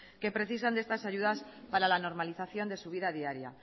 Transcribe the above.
que precisan de estas ayudas para la normalización de su vida diaria